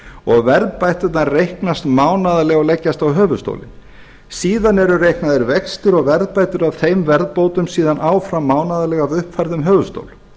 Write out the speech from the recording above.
og verðbæturnar reiknast mánaðarlega og leggjast á höfuðstólinn síðan eru reiknaðir vextir og verðbætur af þeim verðbótum síðan áfram mánaðarlega af uppfærðum höfuðstól